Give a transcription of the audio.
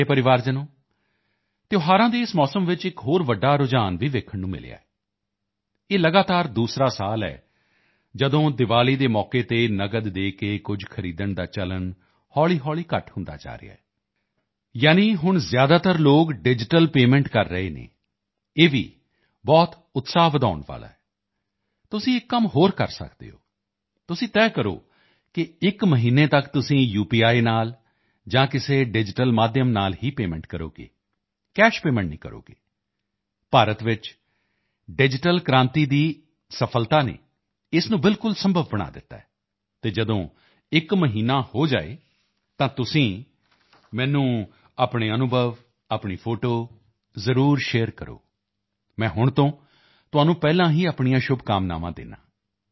ਮੇਰੇ ਪਰਿਵਾਰਜਨੋਂ ਤਿਉਹਾਰਾਂ ਦੇ ਇਸ ਮੌਸਮ ਵਿੱਚ ਇੱਕ ਹੋਰ ਬੜਾ ਟ੍ਰੈਂਡ ਦੇਖਣ ਨੂੰ ਮਿਲਿਆ ਹੈ ਇਹ ਲਗਾਤਾਰ ਦੂਸਰਾ ਸਾਲ ਹੈ ਜਦੋਂ ਦੀਵਾਲੀ ਦੇ ਅਵਸਰ ਤੇ ਕੈਸ਼ ਦੇ ਕੇ ਕੁਝ ਸਾਮਾਨ ਖਰੀਦਣ ਦਾ ਪ੍ਰਚਲਨ ਹੌਲ਼ੀਹੌਲ਼ੀ ਘੱਟ ਹੁੰਦਾ ਜਾ ਰਿਹਾ ਹੈ ਯਾਨੀ ਹੁਣ ਲੋਕ ਜ਼ਿਆਦਾ ਤੋਂ ਜ਼ਿਆਦਾ ਡਿਜੀਟਲ ਪੇਮੈਂਟ ਕਰ ਰਹੇ ਹਨ ਇਹ ਭੀ ਬਹੁਤ ਉਤਸ਼ਾਹ ਵਧਾਉਣ ਵਾਲਾ ਹੈ ਤੁਸੀਂ ਇੱਕ ਹੋਰ ਕੰਮ ਕਰ ਸਕਦੇ ਹੋ ਤੁਸੀਂ ਤੈਅ ਕਰੋ ਕਿ ਇੱਕ ਮਹੀਨੇ ਤੱਕ ਤੁਸੀਂ ਯੂਪੀਆਈ ਨਾਲ ਜਾਂ ਕਿਸੇ ਡਿਜੀਟਲ ਮਾਧਿਅਮ ਨਾਲ ਹੀ ਪੇਮੈਂਟ ਕਰੋਗੇ ਕੈਸ਼ ਪੇਮੈਂਟ ਨਹੀਂ ਕਰੋਗੇ ਭਾਰਤ ਵਿੱਚ ਡਿਜੀਟਲ ਕ੍ਰਾਂਤੀ ਦੀ ਸਫ਼ਲਤਾ ਨੇ ਇਸ ਨੂੰ ਬਿਲਕੁਲ ਸੰਭਵ ਬਣਾ ਦਿੱਤਾ ਹੈ ਅਤੇ ਜਦੋਂ ਇੱਕ ਮਹੀਨਾ ਹੋ ਜਾਵੇ ਤਾਂ ਤੁਸੀਂ ਮੈਨੂੰ ਆਪਣੇ ਅਨੁਭਵ ਆਪਣੀ ਫੋਟੋ ਜ਼ਰੂਰ ਸ਼ੇਅਰ ਕਰੋ ਮੈਂ ਹੁਣ ਤੋਂ ਤੁਹਾਨੂੰ ਐਡਵਾਂਸ ਵਿੱਚ ਆਪਣੀਆਂ ਸ਼ੁਭਕਾਮਨਾਵਾਂ ਦਿੰਦਾ ਹਾਂ